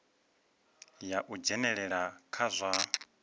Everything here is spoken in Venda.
ya u dzhenelela kha zwa